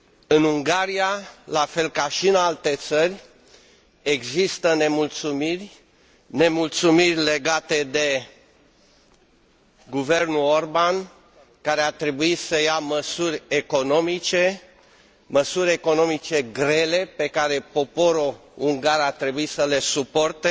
În Ungaria, la fel ca și în alte țări, există nemulțumiri, nemulțumiri legate de guvernul Orbán, care a trebuit să ia măsuri economice, măsuri economice grele, pe care poporul ungar a trebuit să le suporte,